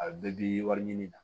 A bɛɛ bi wari ɲini na